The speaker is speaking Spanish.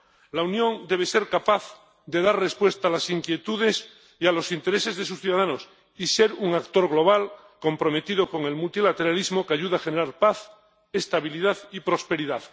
La Unión debe ser capaz de dar respuesta a las inquietudes y a los intereses de sus ciudadanos y ser un actor global comprometido con el multilateralismo que ayude a generar paz, estabilidad y prosperidad.